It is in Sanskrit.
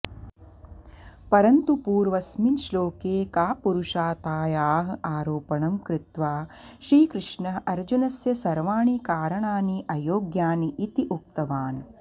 परन्तु पूर्वस्मिन् श्लोके कापुरुषतायाः आरोपणं कृत्वा श्रीकृष्णः अर्जुनस्य सर्वाणि कारणानि अयोग्यानि इति उक्तवान्